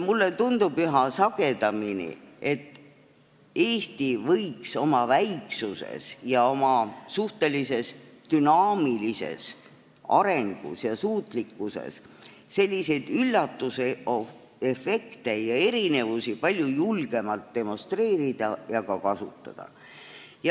Mulle tundub üha sagedamini, et Eesti võiks oma väiksuse ja oma suhteliselt dünaamilise arengu ja suutlikkuse tõttu selliseid üllatusefekte ja erinevusi palju julgemalt demonstreerida ja ka kasutada.